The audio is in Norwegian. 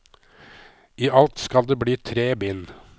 I alt skal det bli tre bind.